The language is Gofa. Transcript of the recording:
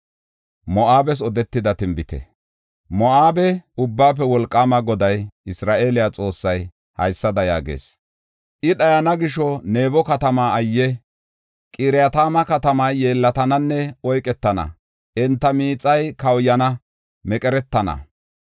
Moo7abe Ubbaafe Wolqaama Goday, Isra7eele Xoossay haysada yaagees; “I dhayana gisho, Nabo katamaa ayye! Qiratayma katamay yeellatananne; oyketana; enta miixay kawuyana; meqeretana.